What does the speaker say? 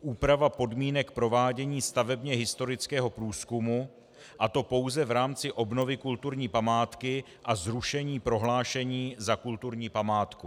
Úprava podmínek provádění stavebně historického průzkumu, a to pouze v rámci obnovy kulturní památky, a zrušení prohlášení za kulturní památku.